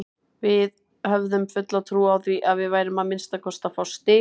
Við höfðum fulla trú á því að við værum að minnsta kosti að fá stig.